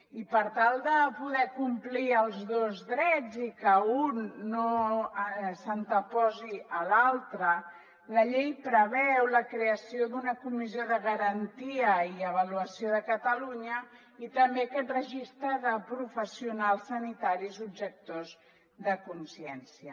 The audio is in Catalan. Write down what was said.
i per tal de poder complir els dos drets i que un no s’anteposi a l’altre la llei preveu la creació d’una comissió de garantia i avaluació de catalunya i també aquest registre de professionals sanitaris objectors de consciència